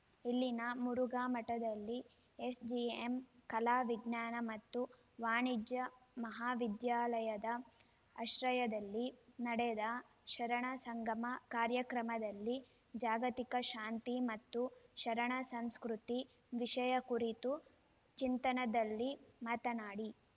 ಇಲ್ಲಿನ ಮುರುಘಾಮಠದಲ್ಲಿ ಎಸ್‌ಜೆಎಂ ಕಲಾ ವಿಜ್ಞಾನ ಮತ್ತು ವಾಣಿಜ್ಯ ಮಹಾವಿದ್ಯಾಲಯದ ಆಶ್ರಯದಲ್ಲಿ ನಡೆದ ಶರಣ ಸಂಗಮ ಕಾರ್ಯಕ್ರಮದಲ್ಲಿ ಜಾಗತಿಕ ಶಾಂತಿ ಮತ್ತು ಶರಣ ಸಂಸ್ಕೃತಿ ವಿಷಯ ಕುರಿತು ಚಿಂತನದಲ್ಲಿ ಮಾತನಾಡಿ